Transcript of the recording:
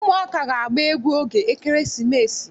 Ụmụaka ga-agba egwu oge ekeresimesi.